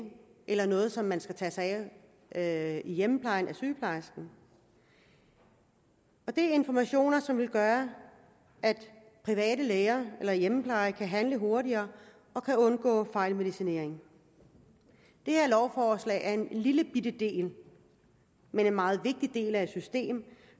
eller noget som man skal tage sig af i hjemmeplejen af sygeplejersken og det er informationer som vil gøre at private læger eller hjemmeplejen kan handle hurtigere og kan undgå fejlmedicinering det her lovforslag om en lillebitte men meget vigtig del af et system